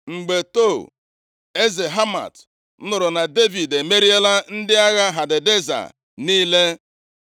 Mgbe Tou, eze Hamat, nụrụ na Devid emeriela ndị agha Hadadeza niile,